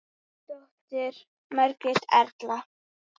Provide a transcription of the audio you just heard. Þín dóttir, Margrét Erla.